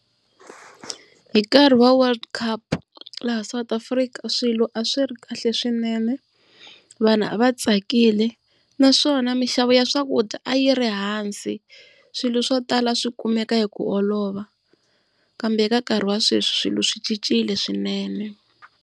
Hi nkarhi wa World Cup laha South Africa swilo a swi ri kahle swinene. Vanhu a va tsakile naswona minxavo ya swakudya a yi ri ehansi swilo swo tala a swi kumeka hi ku olova. Kambe eka nkarhi wa sweswi swilo swi cincile swinene.